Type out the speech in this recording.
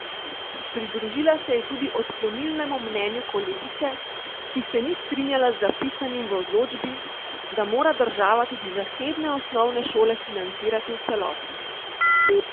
Pridružila se je tudi odklonilnemu mnenju kolegice, ki se ni strinjala z zapisanim v odločbi, da mora država tudi zasebne osnovne šole financirati v celoti.